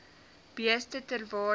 beeste ter waarde